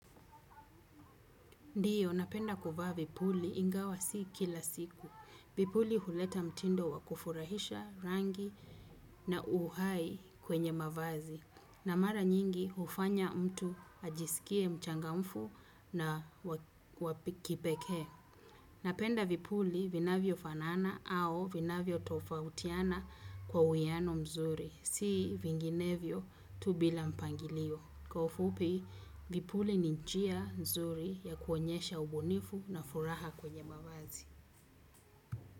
Ndiyo, napenda kuvaa vipuli ingawa si kila siku. Vipuli huleta mtindo wakufurahisha rangi na uhai kwenye mavazi. Na mara nyingi hufanya mtu ajisikie mchangamfu na wakipekee. Napenda vipuli vinavyo fanana au vinavyo tofautiana kwa uiano mzuri. Si vinginevyo tu bila mpangilio. Kwa ufupi, vipuli ni njia nzuri ya kuonyesha ubunifu na furaha kwenye mavazi.